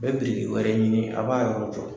Bɛ biriki wɛrɛ ɲini a b'a yɔrɔ jɔ.